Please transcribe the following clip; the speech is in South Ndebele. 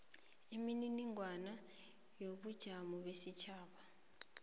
imininingwana yobunjalo besitjhaba